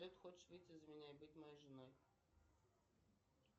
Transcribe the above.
хочешь выйти за меня и быть моей женой